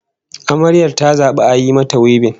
Amaryar ta zabi a yi mata wibin